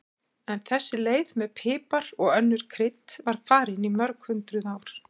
Þessi leið með pipar og önnur krydd var farin í mörg hundruð ár.